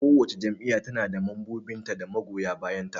Kowace jam'iyya na da mambobi da magoya bayan ta.